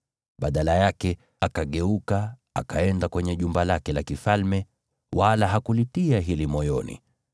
Badala yake, Farao akageuka, akaenda kwenye jumba lake la kifalme, wala hakulitia hili moyoni.